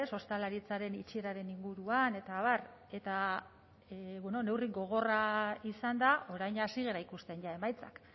ostalaritzaren itxieraren inguruan eta abar eta neurri gogorra izan da orain hasi gara ikusten ja emaitzak